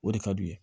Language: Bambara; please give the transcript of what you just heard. O de ka d'u ye